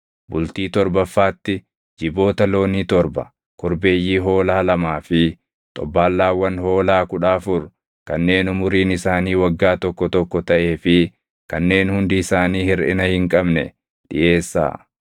“ ‘Bultii torbaffaatti jiboota loonii torba, korbeeyyii hoolaa lamaa fi xobbaallaawwan hoolaa kudha afur kanneen umuriin isaanii waggaa tokko tokko taʼee fi kanneen hundi isaanii hirʼina hin qabne dhiʼeessaa.